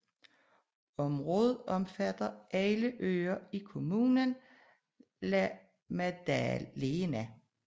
Området omfatter alle øer i kommunen La Maddalena